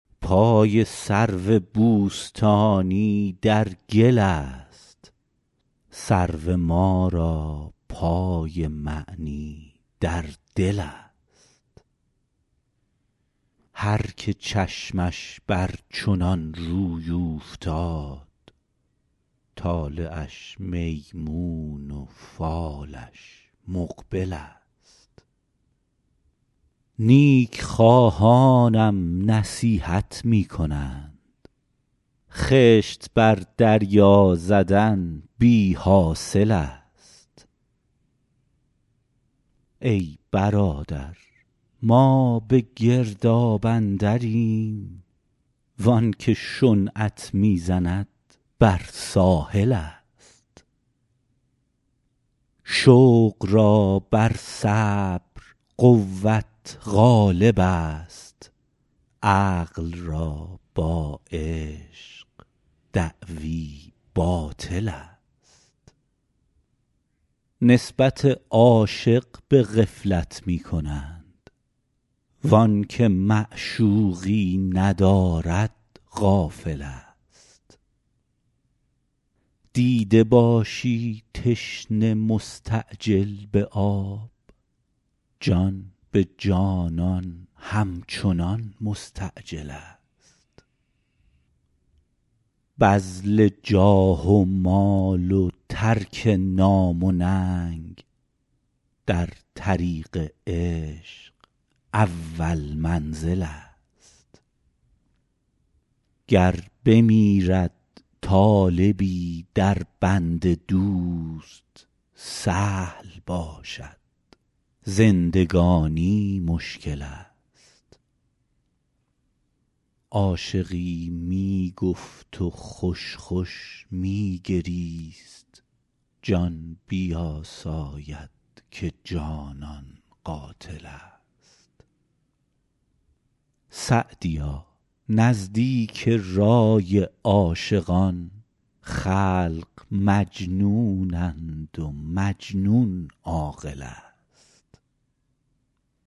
پای سرو بوستانی در گل است سرو ما را پای معنی در دل است هر که چشمش بر چنان روی اوفتاد طالعش میمون و فالش مقبل است نیک خواهانم نصیحت می کنند خشت بر دریا زدن بی حاصل است ای برادر ما به گرداب اندریم وان که شنعت می زند بر ساحل است شوق را بر صبر قوت غالب است عقل را با عشق دعوی باطل است نسبت عاشق به غفلت می کنند وآن که معشوقی ندارد غافل است دیده باشی تشنه مستعجل به آب جان به جانان همچنان مستعجل است بذل جاه و مال و ترک نام و ننگ در طریق عشق اول منزل است گر بمیرد طالبی در بند دوست سهل باشد زندگانی مشکل است عاشقی می گفت و خوش خوش می گریست جان بیاساید که جانان قاتل است سعدیا نزدیک رای عاشقان خلق مجنونند و مجنون عاقل است